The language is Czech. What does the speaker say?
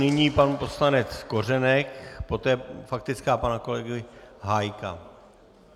Nyní pan poslanec Kořenek, poté faktická pana kolegy Hájka.